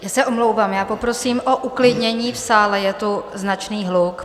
Já se omlouvám, já poprosím o uklidnění v sále, je tu značný hluk.